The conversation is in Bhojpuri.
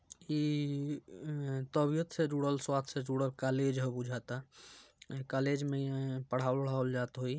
इ तबियत से जुड़ल स्वस्थ से जुड़ल कॉलेज है बुझाता | ये कॉलेज में पढ़ावल उढ़ावल जात होइ।